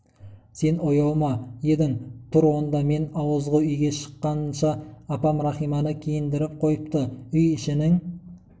сен ояу ма едің тұр онда мен ауызғы үйге шыққанша апам рахиманы киіндіріп қойыпты үй ішінің